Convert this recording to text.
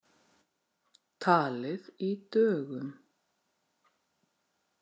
Talið í dögum.